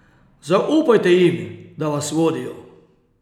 Zaupajte jim, da vas vodijo.